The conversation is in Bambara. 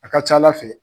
A ka ca ala fɛ